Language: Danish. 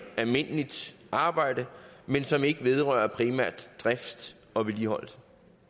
almindeligt arbejde men som ikke vedrører primærdrift og vedligeholdelse